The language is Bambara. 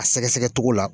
A sɛgɛsɛgɛ cogo la